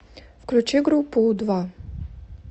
включи группу у два